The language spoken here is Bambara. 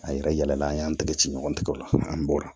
An yɛrɛ yala an y'an tɛgɛ ci ɲɔgɔn ma an bɔra